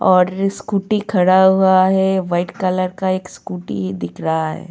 और स्कूटी खड़ा हुआ है वाइट कलर का एक स्कूटी दिख रहा है.